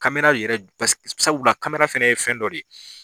Kamera yɛrɛ sabula kamera fɛnɛ ye fɛn dɔ de ye.